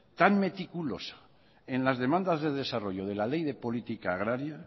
tan meticulosa en las demandas de desarrollo de la ley de política agraria